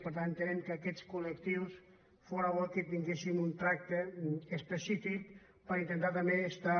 per tant ente·nem que aquests col·lectius fóra bo que tinguessin un tracte específic per intentar també estar